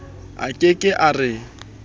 a ke ke a re